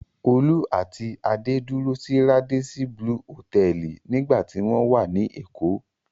Olú àti Adé dúró sí Radisson Blu Hòtẹ́ẹ́lì nígbà tí wọ́n wá ní Èkó.